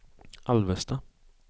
Alvesta